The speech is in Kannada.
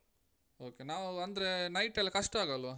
Okay ನಾವು ಅಂದ್ರೆ night ಎಲ್ಲ ಕಷ್ಟ ಆಗಲ್ವಾ?